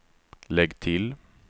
lägg till